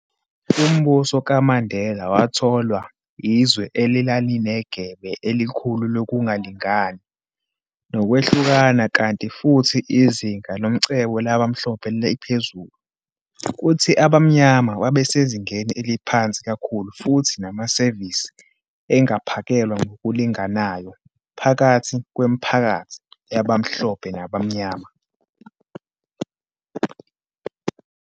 Umbuso kaMandela wathola izwe elalinegebe elikhulu lokungalingani nokwehlukana, kanti futhi izinga lomcebo labamhlophe liphezulu, kuthi abamnyama babesezingeni eliphansi kakhulu futhi namasevisi engaphakelwa ngokulinganayo phakathi kwemiphakathi yabamhlophe nabamnyama.